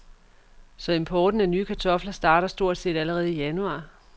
Så importen af nye kartofler starter stort set allerede i januar.